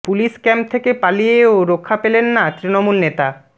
police camp থেকে পালিয়েও রক্ষা পেলেন না তৃণমূল নেতা